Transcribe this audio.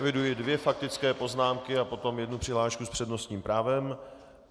Eviduji dvě faktické poznámky a potom jednu přihlášku s přednostním právem.